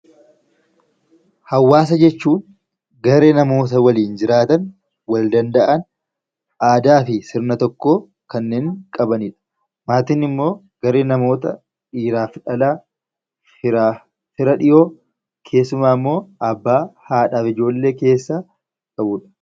Hawaasa jechuun garee namoota waliin jiraatan, wal danda'an, aadaa fi sir a tokko kanneen qabanidh. Maatiin immoo garee namootadhiiraaf dhalaa, fira dhihoo keessumaa immo abbaa fi hadha ijjoollee waliin jiraatanidha.